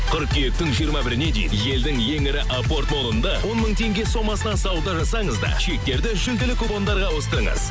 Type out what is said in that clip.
қыркүйектің жиырма біріне дейін елдің ең ірі апорт молында он мың теңге сомасына сауда жасаңыз да чектерді жүлделі купондарға ауыстырыңыз